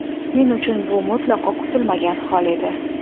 Men uchun bu mutlaqo kutilmagan hol edi.